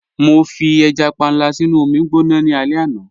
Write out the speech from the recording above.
Mọ fi ẹja pànla sínu omi gbọná ní alẹ̀ àná.